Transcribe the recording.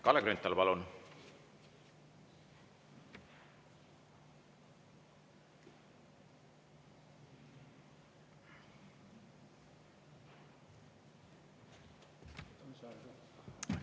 Kalle Grünthal, palun!